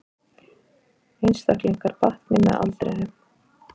Einstaklingar batni með aldrinum